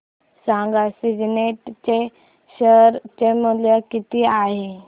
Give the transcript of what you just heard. सांगा सिग्नेट चे शेअर चे मूल्य किती आहे